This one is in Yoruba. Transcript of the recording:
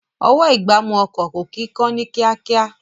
Ọwọ́-ìgbámú ọkọ̀ kò kí ń kán ní kíákíá